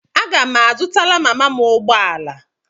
Aga m azụtara mama m ụgbọ ala.